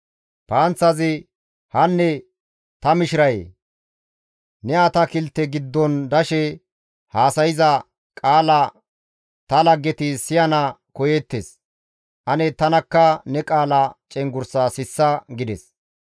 «Hanne ta mishirayee! Ne atakilte giddon dashe haasayza qaala ta laggeti siyana koyeettes; ane tanakka ne qaala cenggurssaa sissa» gides.